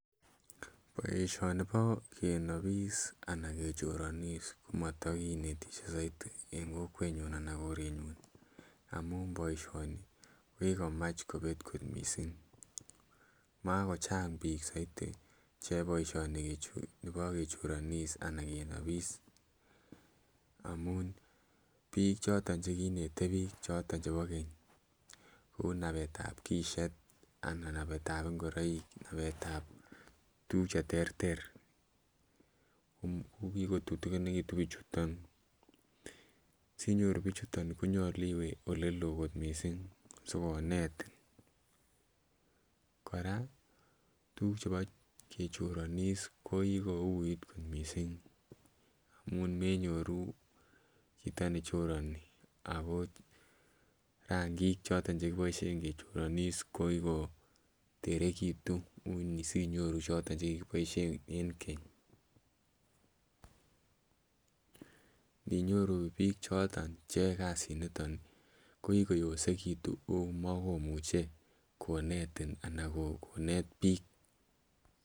Boisioni bo kenobis anan kechoronis komotokinetishe soiti en kokwenyun anan korenyun amun boisioni kokikomach kobet kot misink, makochang bik soiti cheyoe boisionichu bo kechoronis anan kenobis amun bik choton chekinete bik choton chebo keny kou nabetab kishet anan nabetab ingoroik anan konabetab tuguk cheterter, kokikotutuginikitun bichuton sinyoru bichuton konyolu iwe olelo kot misink sikonetin, koraa tuguk chebo kechoronis kokikouit kot misink amun manyoru choto nechoroni akot rangik choton chekiboishien kokikoterekitun ui sinyoru choton chekikiboishe en keny ,indinyoru bik choton cheyoe kasiniton kokikoyosekitun omokomuche konetin anan konet bik.